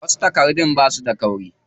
Wasu takardun basu da kauri.